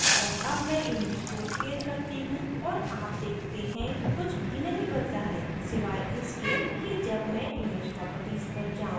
और अब मैं image को scale करती हूँ और आप देखते हैं कुछ भी नहीं बदला है सिवाय इसके कि जब मैं image properties पर जाऊं